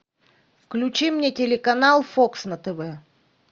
включи мне телеканал фокс на тв